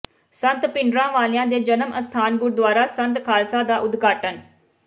ਸੰਤ ਭਿੰਡਰਾਂ ਵਾਲਿਆਂ ਦੇ ਜਨਮ ਅਸਥਾਨ ਗੁਰਦੁਆਰਾ ਸੰਤ ਖ਼ਾਲਸਾ ਦਾ ਉਦਘਾਟਨ